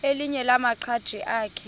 elinye lamaqhaji akhe